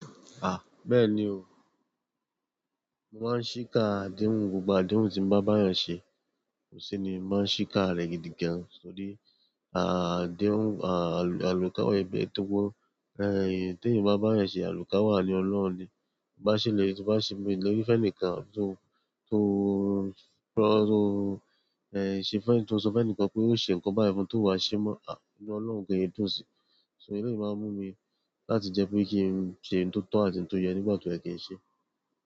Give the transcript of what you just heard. Ah! Bẹ́ẹ̀ni o, mo máa ń ṣíkà adéhùn, gbogbo adéhùn tí mo bá bá ẹ̀yàn ṣe, ko si ni mo máa ń ṣíkà rẹ̀ gidigan. Nítorí à adéhùn à àlùkàwá ẹgbẹ to tó gbo, eh tí èèyàn bá bá ẹ̀yàn ṣe àlùkàwàní Ọlọ́run ni. To bá ṣèlérí to bá ṣẹlérí fẹ́nìkan tó tó kó tó eh ṣe fẹ́nì tó sọ fẹ́nìkan pé ó ṣe nǹkan báyìí fún, tó wá ṣe mọ́, ah! Inú Ọlọ́run gan e yi dùn si. So ìdí to ṣi máa ń mú mi láti jẹ́ pé kí n ṣe oun tó tọ́ àti oun tó yẹ nígbà to yẹ ki n ṣe.